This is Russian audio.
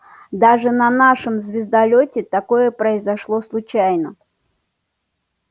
даже на нашем звездолёте такое произошло случайно